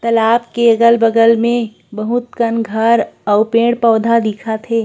तालाब के अगल-बगल के बहुत कन घर पेड़-पौधा दिखत हे।